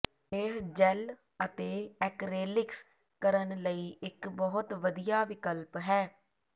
ਇਹ ਜੈੱਲ ਅਤੇ ਐਕਰੇਲਿਕਸ ਕਰਨ ਲਈ ਇੱਕ ਬਹੁਤ ਵਧੀਆ ਵਿਕਲਪ ਹੈ